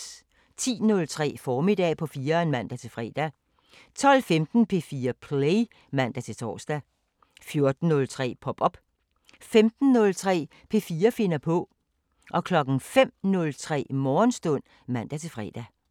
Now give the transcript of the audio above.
10:03: Formiddag på 4'eren (man-fre) 12:15: P4 Play (man-tor) 14:03: Pop op 15:03: P4 finder på 05:03: Morgenstund (man-fre)